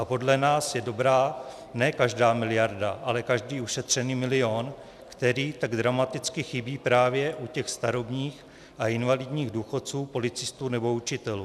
A podle nás je dobrá ne každá miliarda, ale každý ušetřený milion, který tak dramaticky chybí právě u těch starobních a invalidních důchodců, policistů nebo učitelů.